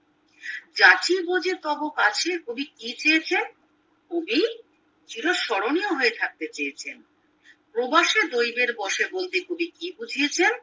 গাছের মজে তব খুব কাছে কবি কি চেয়েছেন কবি চিরস্মরণীয় হয়ে থাকতে চেয়েছেন প্রবাসে দৈবের বসে বলতে কবি কি বুঝেছেন